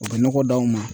U bɛ nɔgɔ d'anw ma